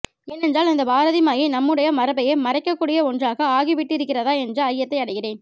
ஏனென்றால் இந்த பாரதி மாயை நம்முடைய மரபையே மறைக்கக்கூடிய ஒன்றாக ஆகிவிட்டிருக்கிறதா என்ற ஐயத்தை அடைகிறேன்